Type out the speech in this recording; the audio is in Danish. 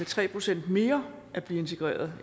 tre procent mere integreret